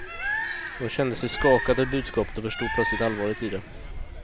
Hon kände sig skakad av budskapet och förstod plötsligt allvaret i det.